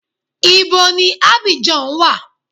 Ibo ni Abidjan wa?